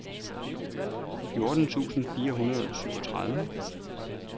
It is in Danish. fjorten tusind fire hundrede og syvogtredive